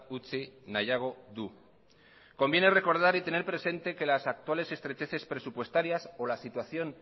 utzi nahiago du conviene recordar y tener presente que las actuales estrecheces presupuestarias o la situación